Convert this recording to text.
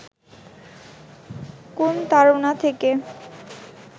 কোন তাড়না থেকে